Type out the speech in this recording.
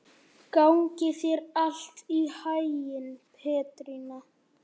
Gangi þér allt í haginn, Petrína.